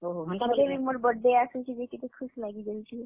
ହଁ, ହେନ୍ତା ବଏଲେ ମୋର୍ birthday ଆସୁଛେ ଯେ ଟିକେ ଖୁସ୍ ଲାଗି ଯାଉଛେ।